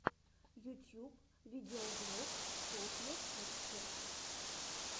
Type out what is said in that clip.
ютьюб видеоблог софья пикчерз